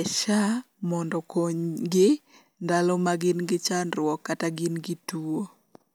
e SHA mondo okony gi ndalo ma gin gi chandruok kata gin gi tuo.